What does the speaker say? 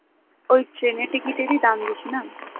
ওই ট্রেনের টিকিটেরই দাম বেশি না?